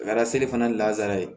A kɛra seli fana lasara ye